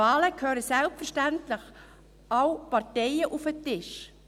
Bei Wahlen gehören selbstverständlich alle Parteien auf den Tisch.